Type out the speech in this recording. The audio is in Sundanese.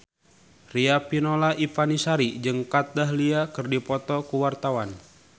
Riafinola Ifani Sari jeung Kat Dahlia keur dipoto ku wartawan